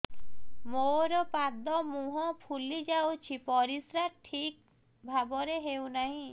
ମୋର ପାଦ ମୁହଁ ଫୁଲି ଯାଉଛି ପରିସ୍ରା ଠିକ୍ ଭାବରେ ହେଉନାହିଁ